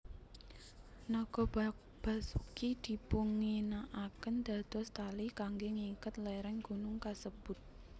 Naga Basuki dipunginakaken dados tali kangge ngiket léréng gunung kasebut